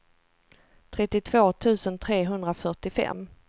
trettiotvå tusen trehundrafyrtiofem